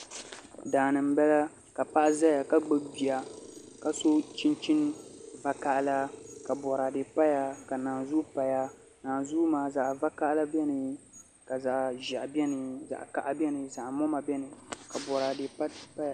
Daani n bala ka paɣa ʒɛya ka gbubi bia ka so chinchin vakaɣala ka boraadɛ paya ka naanzuu paya nanzuu maa zaɣ vakaɣali biɛni ka zaɣ ʒiɛhi biɛni zaɣ kaha biɛni ka zaɣ moma biɛni ka boraadɛ paya